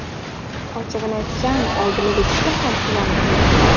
Ochig‘ini aytsam, oldiniga juda ham quvonib ketdik.